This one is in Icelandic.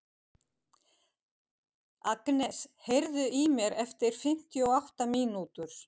Agnes, heyrðu í mér eftir fimmtíu og átta mínútur.